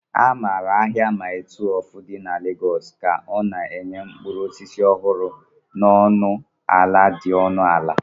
A maara ahia Mile 12 di na Lagos ka ọ na-enye mkpụrụ osisi ọhụrụ na ọnụ ala dị ọnụ ala.